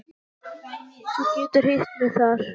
Þú getur hitt mig þar.